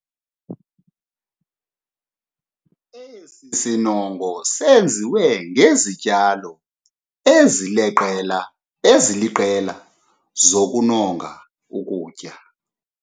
Esi sinongo senziwe ngezityalo eziliqela zokunonga ukutya.